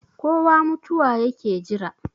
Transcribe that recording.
kowa mutuwa yake Jira